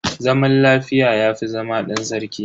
Zaman lafiya yafi zama dan sarki.